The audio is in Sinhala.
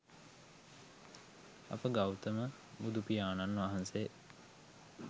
අප ගෞතම බුදුපියාණන් වහන්සේ